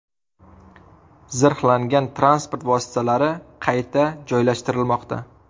Zirhlangan transport vositalari qayta joylashtirilmoqda.